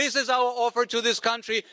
This is our offer to this country.